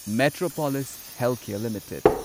Metropolis Healthcare limited